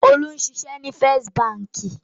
Olú ń ṣiṣẹ́ ní First Báńkì.